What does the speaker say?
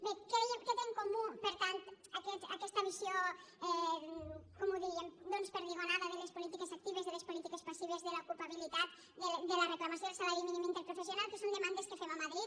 bé què té en comú per tant aquesta visió com ho diríem doncs perdigonada de les polítiques actives de les polítiques passives de l’ocupabilitat de la reclamació del salari mínim interprofessional que són demandes que fem a madrid